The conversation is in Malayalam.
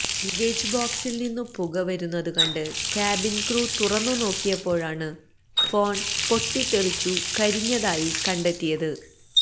ലഗേജ് ബോക്സിൽനിന്നു പുക വരുന്നതു കണ്ട് കാബിൻ ക്രൂ തുറന്നു നോക്കിയപ്പോഴാണ് ഫോൺ പൊട്ടിത്തെറിച്ചു കരിഞ്ഞതായി കണ്ടെത്തിയത്